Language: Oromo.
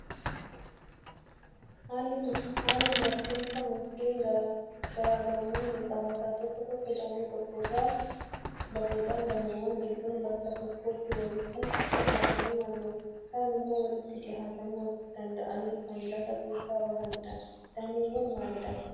Haalli margiinsa mukkeen garaagarummaa ni qabaata. Tokko tokko damee tokkorraa bahuudhaan dameewwan hedduun bakka tokkotti walitti dhiyaatanii margu. Kaan immoo walitti dhiyaatanii of danda'anii kan lafa keessaa bahanidha. Dameewwan maalidhaa?